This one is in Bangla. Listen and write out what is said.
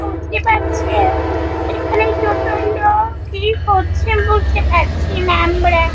বুঝতে পারছেন এখানে দুটো লোক কি করছে বুঝতে পারছি না আমরা।